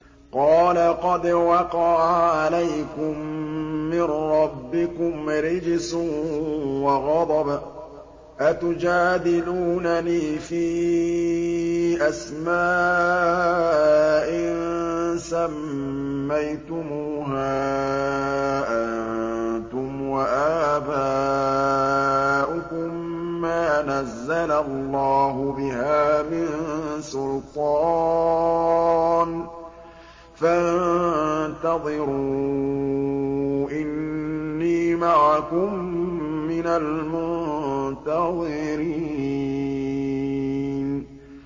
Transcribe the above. قَالَ قَدْ وَقَعَ عَلَيْكُم مِّن رَّبِّكُمْ رِجْسٌ وَغَضَبٌ ۖ أَتُجَادِلُونَنِي فِي أَسْمَاءٍ سَمَّيْتُمُوهَا أَنتُمْ وَآبَاؤُكُم مَّا نَزَّلَ اللَّهُ بِهَا مِن سُلْطَانٍ ۚ فَانتَظِرُوا إِنِّي مَعَكُم مِّنَ الْمُنتَظِرِينَ